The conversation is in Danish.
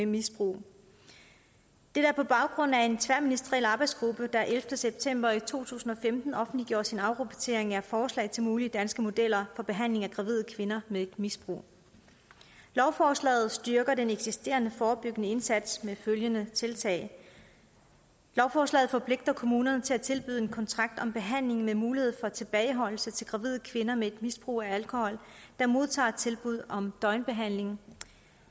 misbrug dette er på baggrund af en tværministeriel arbejdsgruppe der den ellevte september to tusind og femten offentliggjorde sin afrapportering af forslag til mulige danske modeller for behandling af gravide kvinder med et misbrug lovforslaget styrker den eksisterende forebyggende indsats med følgende tiltag lovforslaget forpligter kommunerne til at tilbyde en kontrakt om behandling med mulighed for tilbageholdelse til gravide kvinder med et misbrug af alkohol der modtager et tilbud om døgnbehandling